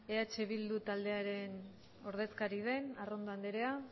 eh bildu taldearen ordezkaria den arrondo andrea